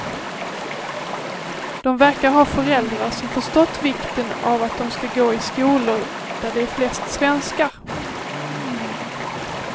De verkar ha föräldrar som förstått vikten av att de ska gå i skolor där det är flest svenskar.